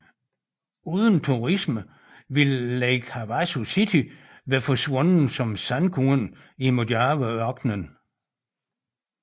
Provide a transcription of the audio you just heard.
Uden turisme ville Lake Havasu City være forsvundet som sandkorn i Mojave ørknen